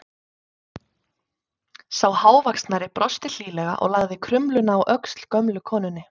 Sá hávaxnari brosti hlýlega og lagði krumluna á öxl gömlu konunni.